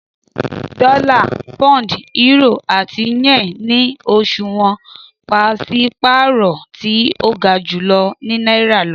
Dọla, Pound, Euro ati Yen ni oṣuwọn paṣipaarọ ti o ga ju Naira lọ